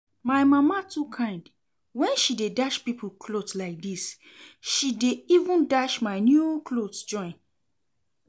My mama too kind, when she dey dash people cloth like dis, she dey even dash my new clothes join